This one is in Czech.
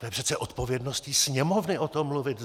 To je přece odpovědnost Sněmovny o tom mluvit!